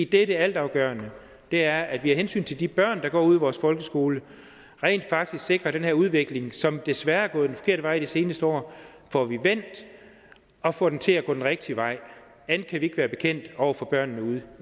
det altafgørende er at vi af hensyn til de børn der går ude i vores folkeskoler rent faktisk sikrer den her udvikling som desværre er gået den forkerte vej de seneste år og får den til at gå den rigtige vej andet kan vi ikke være bekendt over for børnene ude